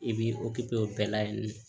I b'i o bɛɛ la yen nɔ